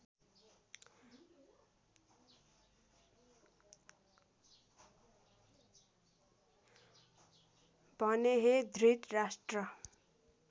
भने हे धृतराष्ट्र